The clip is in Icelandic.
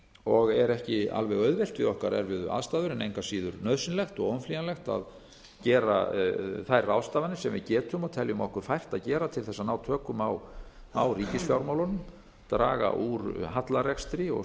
og er ekki alveg auðvelt við okkar erfiðu aðstæður en engu að síður nauðsynlegt og óumflýjanlegt að gera þær ráðstafanir sem við getum og teljum okkur fært að gera til þess að ná tökum á ríkisfjármálunum draga úr hallarekstri og